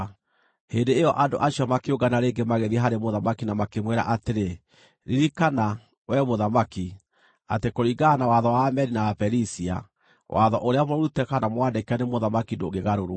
Hĩndĩ ĩyo andũ acio makĩũngana rĩngĩ magĩthiĩ harĩ mũthamaki na makĩmwĩra atĩrĩ, “Ririkana, wee mũthamaki, atĩ kũringana na watho wa Amedi na Aperisia, watho ũrĩa mũrute kana mwandĩke nĩ mũthamaki ndũngĩgarũrwo.”